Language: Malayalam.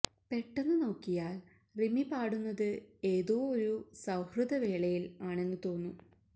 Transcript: പെട്ടെന്ന് നോക്കിയാൽ റിമി പാടുന്നത് ഏതോ ഒരു സൌഹൃദ വേളയിൽ ആണെന്ന് തോന്നും